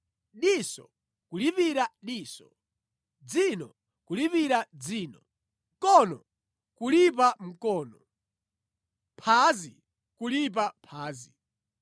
diso kulipira diso, dzino kulipira dzino, mkono kulipa mkono, phazi kulipa phazi.